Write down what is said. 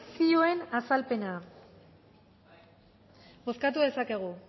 zioen azalpena bozkatu dezakegu